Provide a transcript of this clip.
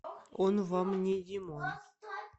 он вам не димон